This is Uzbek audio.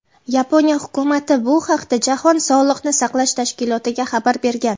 Yaponiya Hukumati bu haqda Jahon sog‘liqni saqlash tashkilotiga xabar bergan.